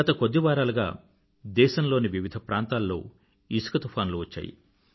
గత కొద్ది వారాలుగా దేశం లోని వివిధ ప్రాంతాల్లో ఇసుక తుఫానులు వచ్చాయి